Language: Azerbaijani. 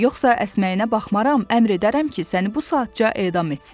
Yoxsa əsməyinə baxmaram, əmr edərəm ki, səni bu saatca edam etsinlər.